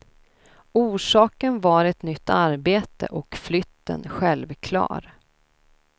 Orsaken var ett nytt arbete, och flytten självklar.